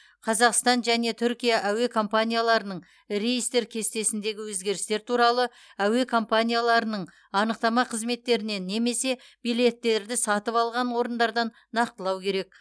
қазақстан және түркия әуе компанияларының рейстер кестесіндегі өзгерістер туралы әуе компанияларының анықтама қызметтерінен немесе билеттерді сатып алған орындардан нақтылау керек